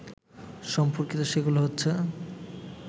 সম্পর্কিত সেগুলো হচ্ছে